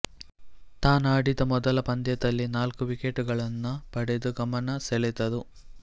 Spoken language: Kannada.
ತಾನಾಡಿದ ಮೊದಲ ಪಂದ್ಯದಲ್ಲೇ ನಾಲ್ಕು ವಿಕೆಟುಗಳನ್ನು ಪಡೆದು ಗಮನ ಸೆಳೆದರು